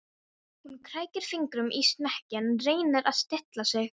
Hún krækir fingrum í smekkinn, reynir að stilla sig.